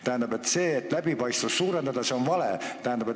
Tähendab, see, et te tahate läbipaistvust suurendada, on vale.